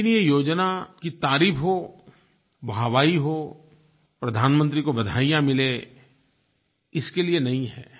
लेकिन ये योजना की तारीफ़ हो वाहवाही हो प्रधानमंत्री को बधाइयाँ मिलें इसके लिये नहीं है